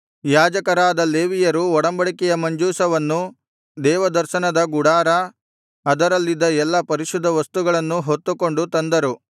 ಯಾಜಕರಾದ ಲೇವಿಯರು ಒಡಂಬಡಿಕೆಯ ಮಂಜೂಷವನ್ನು ದೇವದರ್ಶನದ ಗುಡಾರ ಅದರಲ್ಲಿದ್ದ ಎಲ್ಲಾ ಪರಿಶುದ್ಧವಸ್ತುಗಳನ್ನೂ ಹೊತ್ತುಕೊಂಡು ತಂದರು